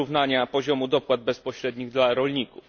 wyrównania poziomu dopłat bezpośrednich dla rolników.